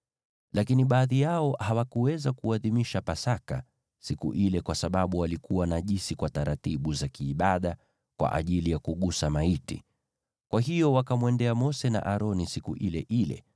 Lakini baadhi yao hawakuweza kuadhimisha Pasaka siku ile kwa sababu walikuwa najisi kwa taratibu za kiibada kwa ajili ya kugusa maiti. Kwa hiyo wakamwendea Mose na Aroni siku ile ile,